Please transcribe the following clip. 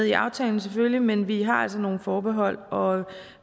i aftalen selvfølgelig men vi har altså nogle forbehold og